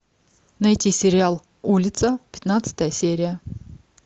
найти сериал улица пятнадцатая серия